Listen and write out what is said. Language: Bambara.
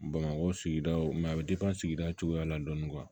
Bamakɔ sigidaw mɛ a bɛ sigida cogoya la dɔɔnin